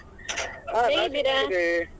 ಹ ನಾನ್ .